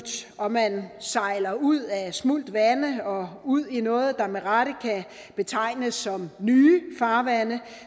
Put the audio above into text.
og man sejler ud af smult vande og ud i noget der med rette kan betegnes som nye farvande